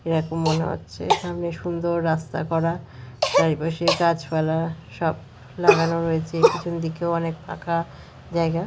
এরকম মনে হচ্ছে সামনে সুন্দর রাস্তা করা চারি পাশে গাছপালা সব লাগানো রয়েছে পিছন দিকেও অনেক ফাঁকা জায়গা।